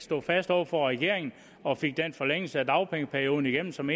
stod fast over for regeringen og fik den forlængelse af dagpengeperioden igennem som